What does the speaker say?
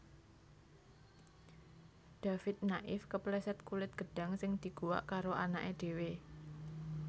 David Naif kepleset kulit gedhang sing diguwak karo anake dhewe